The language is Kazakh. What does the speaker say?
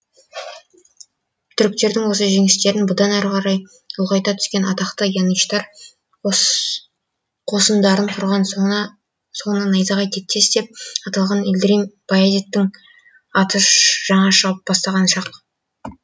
түріктердің осы жеңістерін бұдан әрі қарай ұлғайта түскен атақты янычтар қосындарын құрған соңынан найзағай тектес деп аталған илдрим баязиттің аты жаңа шыға бастаған шақ